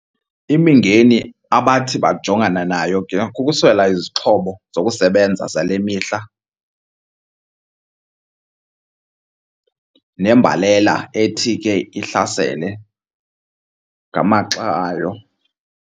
Imingeni abathi bajongana nayo ke kukuswela izixhobo zokusebenza zale mihla nembalela ethi ke ihlasele ngamaxa ayo.